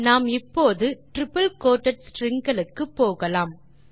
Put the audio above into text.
நாம் இப்போது triple quoted stringகளுக்கு போகலாம்